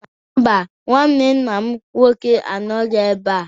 Mba, nnwanne nna m nnwoke anọghị ebe a.